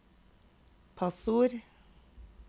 passord